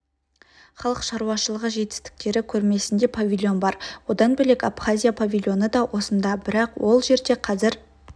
халық шаруашылығы жетістіктері көрмесінде павильон бар одан бөлек абхазия павильоны да осында бірақ ол жерде қазір